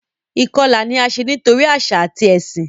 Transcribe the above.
Ìkọlà ni a ṣe nitori aṣa tabi ẹsin.